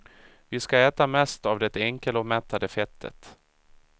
Vi ska äta mest av det enkelomättade fettet.